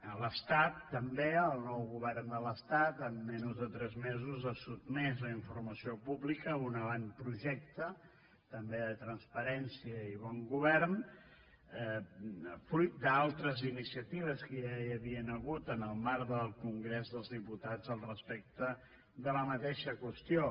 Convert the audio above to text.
a l’estat també el nou govern de l’estat en menys de tres mesos ha sotmès a informació pública un avantprojecte també de transparència i bon govern fruit d’altres iniciatives que ja hi havia hagut en el marc del congrés dels diputats respecte de la mateixa qüestió